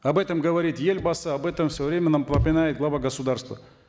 об этом говорит елбасы об этом в свое время нам глава государства